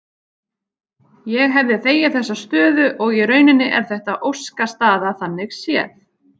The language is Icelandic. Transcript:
Ég hefði þegið þessa stöðu og í rauninni er þetta óskastaða þannig séð.